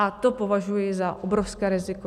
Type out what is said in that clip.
A to považuji za obrovské riziko.